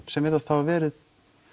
sem virðast hafa verið